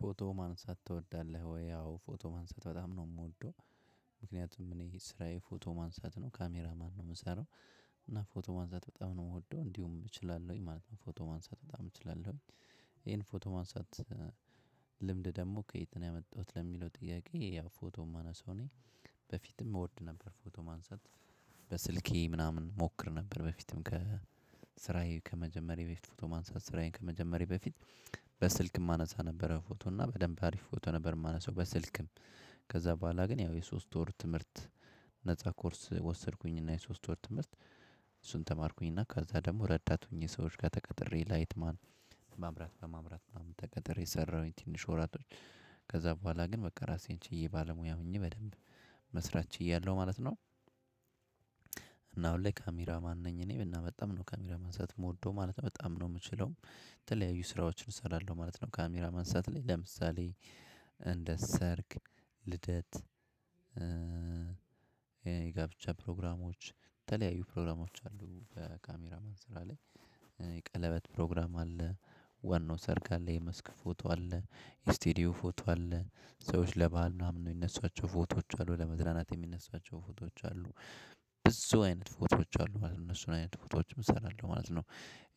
ፎቶ ማንሳት ትወዳለህ ወይ? አዎ ፎቶ ማንሳት በጣም ነው የምወደው። ምክንያቱም እኔ ስራዬ ፎቶ ማንሳት ነው ካሜራ ማን ነው የምሰራው። እና ፎቶ ማንሳት በጣም ነው የምወደው እንዲሁም እችላለሁኝ ማለት ነው። ፎቶ ማንሳት በጣም እችላለሁኝ። ይሄን ፎቶ ማንሳት ደግሞ ከየት ነው ያመጣሁት። ለሚለው ጥያቄ ያው ፎቶ የማነሳው እኔ። በፊትም እወድ ነበር ፎቶ ማንሳት። በስልኬ ምናምን ሞክር ነበር በፊትም ከ ስራዬ ከመጀመሬ በፊት ፎቶ ማንሳት ስራዬን ከመጀመሬ በፊት። በስልክ የማነሳ ነበረ ፎቶ እና በደንብ አሪፍ ፎቶ ነበር የማነሳው በስልክም። ከዛ በኋላ ግን ያው የሶስት ወር ትምህርት ነፃ ኮርስ ወሰድኩኝ እና የሶስት ወር ትምህርት። እሱን ተማርኩኝና ከዛ ደግሞ ረዳት ሆኜ ሰዎች ጋር ተቀጥሬ ላይትማን ማምራት በማምራት ምናምን ተቀጥሬ ሰራሁኝ ትንሽ ወራቶች። ከዛ በኋላ ግን በቃ ራሴን ችዬ ባለሙያ ምኜ በደንብ መስራት ችያለሁ ማለት ነው። እና አሁን ላይ ካሜራ ማን ነኝ እኔ እና በጣም ነው ካሜራ ማንሳት የምወደው ማለት ነው። በጣም ነው የምችለው የተለያዩ ስራዎችን እሰራለሁ ማለት ነው። ካሜራ ማንሳት ላይ ለምሳሌ እንደ ሰርግ ልደት። የጋብቻ ፕሮግራሞች የተለያዩ ፕሮግራሞች አሉ በካሜራ ማን ስራ ላይ። የቀለበት ፕሮግራም አለ። ዋናው ሰርግ አለ የመስክ ፎቶ አለ። ስቴዲዮ ፎቶ አለ። ሰዎች ለባል ምናምን የሚነሷቸው ፎቶዎች አሉ ለመዝናናት የሚነሷቸው ፎቶዎች አሉ። ብዙ አይነት ፎቶዎች አሉ እነሱን አይነት ፎቶዎች እሰራለሁ ማለት ነው።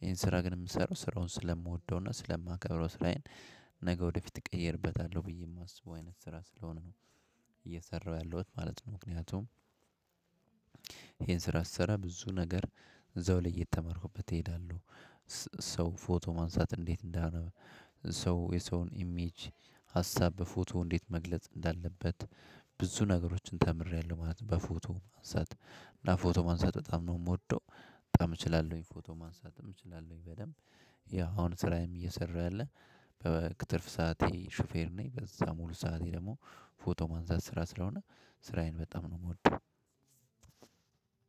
ይሄን ስራ ግን የምሰራው ስራውን ስለምወደውና ስለማከብረው ስራዬን ነገ ወደፊት እቀየርበታለሁ ብዬ የማስበው አይነት ስራ ስለሆነ ነው። እየሰራሁ ያለሁት ማለት ነው ምክንያቱም። ይሄን ስራ ስሰራ ብዙ ነገር እዛውላይ የተማርኩበት እሄዳለሁ። ሰው ፎቶ ማንሳት እንዴት እንዳሆነ። ሰው የሰውን ኢሜጅ ሀሳብ በፎቶ እንዴት መግለጽ እንዳለበት። ብዙ ነገሮችን ተምሬያለሁ ማለት ነው። በፎቶ ማንሳት እና ፎቶ ማንሳት በጣም ነው የምወደው። በጣም እችላለሁኝ ፎቶ ማንሳትም እችላለሁኝ በደንብ። ያው አሁን ስራዬም እየሰራ ያለ በትርፍ ሰዓቴ ሹፌር ነኝ በዛ ሙሉ ሰዓቴ ደግሞ ፎቶ ማንሳት ስራ ስለሆነ። ስራዬን በጣም ነው የምወደው።